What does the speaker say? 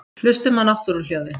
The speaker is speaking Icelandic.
Hlustum á náttúruhljóðin.